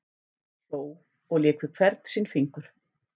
Hló og lék við hvern sinn fingur.